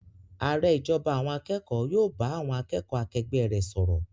Ààrẹ ìjọba àwọn akẹ́kọ̀ọ́ yóò bá àwọn akẹ́kọ̀ọ́ akẹgbẹ́ rẹ̀ sọ̀rọ̀.